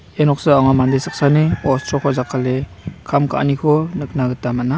ia noksao anga mande saksani ostroko jakale kam ka.aniko nikna gita man·a.